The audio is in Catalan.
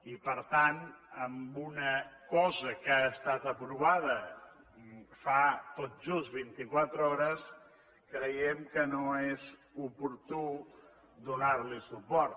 i per tant amb una cosa que ha estat aprovada fa tot just vint i quatre hores creiem que no és oportú donar hi suport